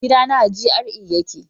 gidana a GRA ya ke